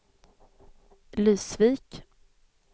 Lysvik